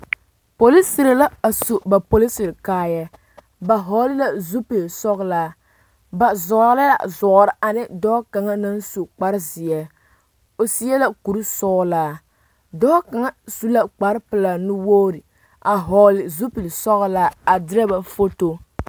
Porosiri la a su ba porosiri kaayaa ba vɔgle la zupilsɔglaa ba zɔɔrɔ la zɔɔre ane dɔɔ kaŋa naŋ su kparezeɛ o seɛ la kurisɔglaa dɔɔ kaŋa su la kparepelaa nuwogre a vɔgle zupilsɔglaa a derɛ ba foto.